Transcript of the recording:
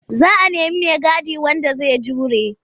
Za a nemi maigadi wanda zai jure.